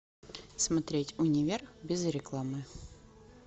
смотреть универ без рекламы